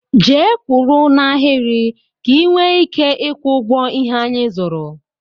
Jee kwụrụ n'ahiri ka i nwee ike ịkwọ ụgwọ ihé anyị zụrụ!!!!